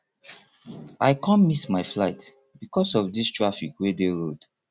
i com miss my flight because of dis traffic wey dey road